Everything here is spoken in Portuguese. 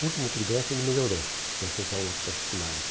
O último trimestre ele melhorou com essas aulas particulares.